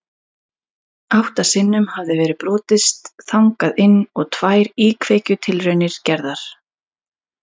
Átta sinnum hafði verið brotist þangað inn og tvær íkveikjutilraunir gerðar.